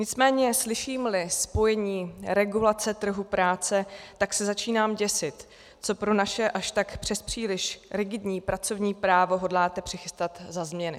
Nicméně slyším-li spojení regulace trhu práce, tak se začínám děsit, co pro naše už tak přespříliš rigidní pracovní právo hodláte přichystat za změny.